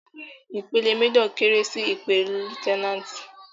Ìpele méjọ̀ kéré sí ìpele lutẹnáàtì.